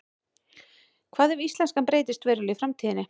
hvað ef íslenskan breytist verulega í framtíðinni